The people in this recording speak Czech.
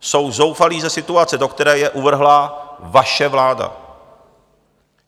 Jsou zoufalí ze situace, do které je uvrhla vaše vláda!